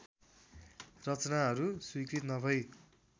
रचनाहरू स्वीकृत नभई